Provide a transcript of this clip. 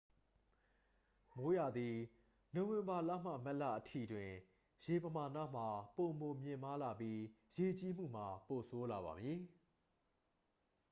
မိုးရာသီ နိုဝင်ဘာလမှ မတ်လအထိ တွင် ရေပမာဏမှာ ပိုမြင့်မားလာပြီး ရေကြီးမှုမှာ ပိုဆိုးလာပါမည်။